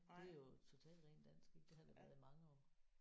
Det er jo total ren dansk ik det har det været i mange år